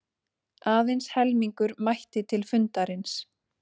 Aðeins helmingur mætti til fundarins